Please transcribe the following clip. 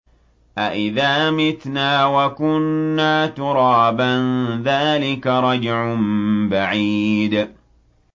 أَإِذَا مِتْنَا وَكُنَّا تُرَابًا ۖ ذَٰلِكَ رَجْعٌ بَعِيدٌ